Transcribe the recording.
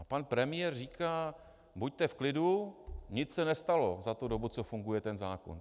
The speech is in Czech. A pan premiér říká: Buďte v klidu, nic se nestalo za tu dobu, co funguje ten zákon.